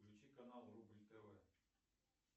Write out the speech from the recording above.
включи канал рубль тв